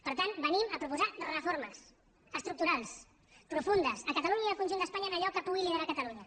per tant venim a proposar reformes estructurals profundes a catalunya i al conjunt d’espanya en allò que pugui liderar catalunya